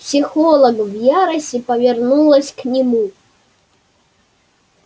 психолог в ярости повернулась к нему